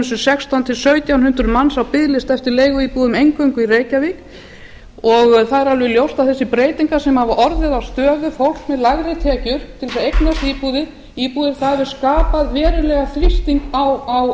um sextán til sautján hundruð manns á biðlista eftir leiguíbúðum eingöngu í reykjavík það er alveg ljóst að þessar breytingar sem hafa orðið á stöðu fólks með lægri tekjur til að eignast íbúðir hafi skapað verulegan þrýsting á